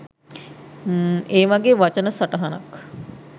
ඒ වගේ වචන සටහනක්